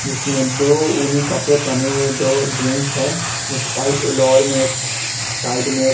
जिसमें दो ऊनी कपड़े पहने हुए दो जेंट्स है एक वाइट लोअर में साइड में एक --